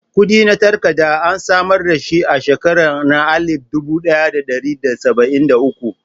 Kudi na takarka an samar da shi a shekaran na alip dubu daya da dari da sabain da uku.